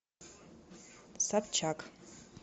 собчак